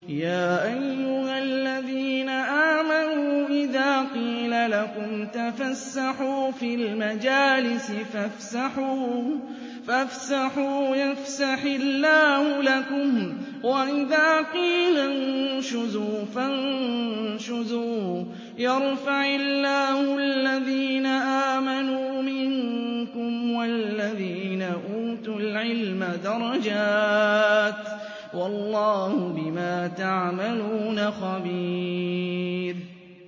يَا أَيُّهَا الَّذِينَ آمَنُوا إِذَا قِيلَ لَكُمْ تَفَسَّحُوا فِي الْمَجَالِسِ فَافْسَحُوا يَفْسَحِ اللَّهُ لَكُمْ ۖ وَإِذَا قِيلَ انشُزُوا فَانشُزُوا يَرْفَعِ اللَّهُ الَّذِينَ آمَنُوا مِنكُمْ وَالَّذِينَ أُوتُوا الْعِلْمَ دَرَجَاتٍ ۚ وَاللَّهُ بِمَا تَعْمَلُونَ خَبِيرٌ